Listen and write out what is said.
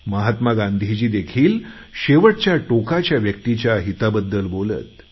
महात्मा गांधी देखील तळागाळातील प्रत्येक व्यक्तीच्या हिताबद्दल बोलत